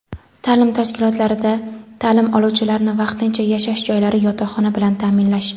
Ta’lim tashkilotlarida ta’lim oluvchilarni vaqtincha yashash joylari (yotoqxona) bilan ta’minlash.